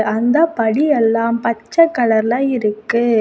அந்த படி எல்லாம் பச்சை கலர்ல இருக்கு.